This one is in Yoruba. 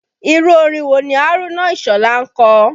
Irú orin wo ni Haruna Isola ń kọ?